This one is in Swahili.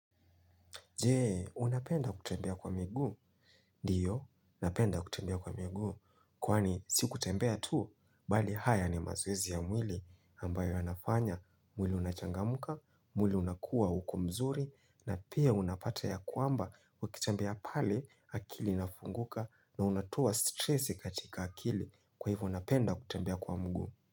Je, unapenda kutembea kwa miguu. Ndio, napenda kutembea kwa miguu. Kwani, si kutembea tu, bali haya ni mazoezi ya mwili, ambayo yanafanya, mwili unachangamka, mwili unakuwa uko mzuri, na pia unapata ya kwamba, ukitembea pale, akili inafunguka, na unatoa stresi katika akili, kwa hivyo napenda kutembea kwa mguu.